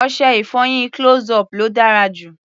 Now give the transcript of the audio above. Ọṣẹ-ìfọyín close-up ló dára jù.